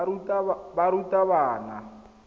barutabana